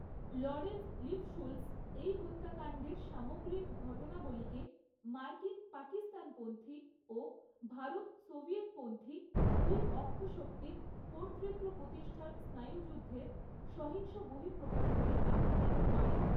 Lawrence Lifschultz এই হত্যাকাণ্ডের সমাগ্রিক ঘটনাবলিকে মার্কিন পাকিস্তানপন্থী ও ভারত সোভিয়েতপন্থী দুই অক্ষশক্তির কর্তৃত্ব প্রতিষ্ঠার স্নায়ুযুদ্ধের সহিংস বহিঃপ্রকাশ বলে আখ্যায়িত করেন।